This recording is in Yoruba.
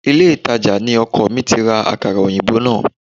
Ilé-ìtàjà ni ọkọ mi ti ra Àkàrà òyìnbó náà